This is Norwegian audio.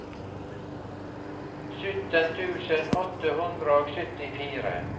sytten tusen åtte hundre og syttifire